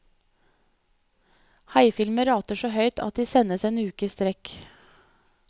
Haifilmer rater så høyt at de sendes en uke i strekk.